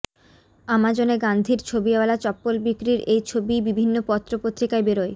আমাজনে গান্ধীর ছবিওয়ালা চপ্পল বিক্রির এই ছবি বিভিন্ন পত্রপত্রিকায় বেরোয়